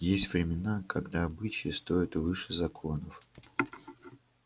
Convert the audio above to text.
есть времена когда обычаи стоят выше законов